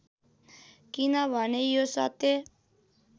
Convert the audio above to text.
किनभने यो सत्य